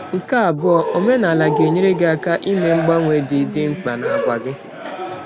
Nke abụọ, omenala ga-enyere gị aka ime mgbanwe dị dị mkpa n’àgwà gị.